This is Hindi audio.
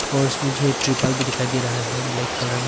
और इसमें जो है त्रिरपाल भी दिखाई दे रहा है ब्लैक कलर में।